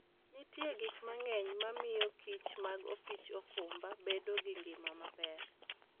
Nitie gik mang'eny mamiyokich mag opich okumba bedo gi ngima maber.